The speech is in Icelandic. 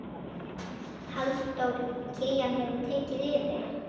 Halldór Kiljan hefur tekið yfir.